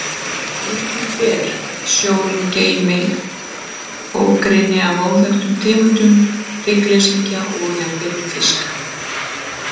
Líklegt er sjórinn geymi ógrynni af óþekktum tegundum hryggleysingja og jafnvel fiska.